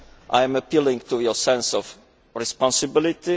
I am appealing to your sense of responsibility.